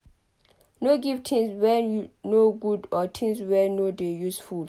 No give things wey no good or things wey no dey useful